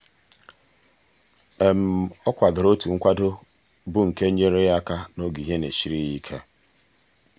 ọ kwadoro otu nkwado bụ nke nyeere ya aka n'oge ihe na-esiri ya ike.